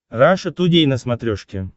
раша тудей на смотрешке